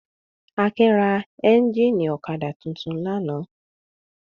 Akin ra ẹ́ńjínì ọ̀kadà tuntun lánàá.